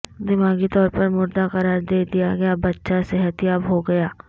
دماغی طور پر مردہ قرار دیدیا گیا بچہ صحتیاب ہوگیا